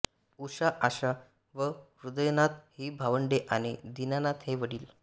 उषा आशा व हृदयनाथ ही भावंडे आणि दीनानाथ हे वडील